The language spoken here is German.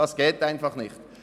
Das geht einfach nicht.